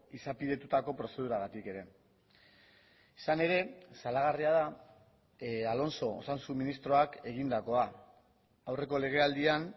izapidetutako prozeduragatik ere izan ere salagarria da alonso osasun ministroak egindakoa aurreko legealdian